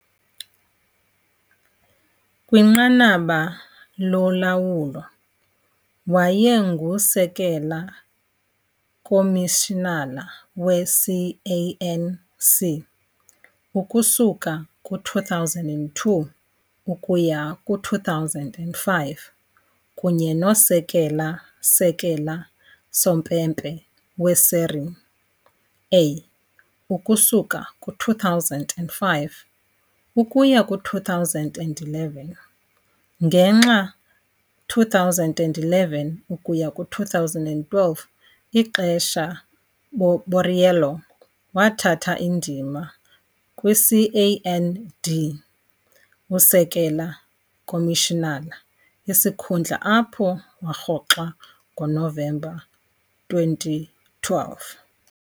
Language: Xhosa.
Kwinqanaba lolawulo, wayengusekela-komishinala we-CAN C ukusuka ku-2002 ukuya ku-2005 kunye nosekela-sekela-sompempe we-Serie A ukusuka ku-2005 ukuya ku-2011, ngenxa 2011-2012 ixesha Borriello wathatha indima CAN D usekela-komishinala, isikhundla apho warhoxa ngoNovemba 2012.